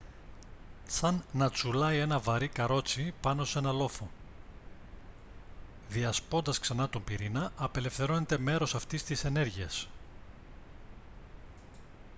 σαν να τσουλάει ένα βαρύ καρότσι πάνω σε έναν λόφο διασπώντας ξανά τον πυρήνα απελευθερώνεται μέρος αυτής της ενέργειας